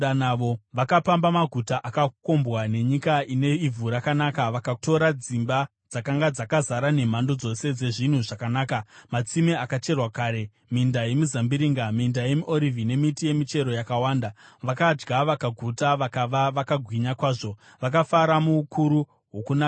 Vakapamba maguta akakombwa nenyika ine ivhu rakanaka, vakatora dzimba dzakanga dzakazara nemhando dzose dzezvinhu zvakanaka, matsime akacherwa kare, minda yemizambiringa, minda yemiorivhi nemiti yemichero yakawanda. Vakadya vakaguta vakava vakagwinya kwazvo; vakafara muukuru hwokunaka kwenyu.